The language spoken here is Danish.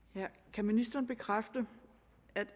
kan ministeren bekræfte at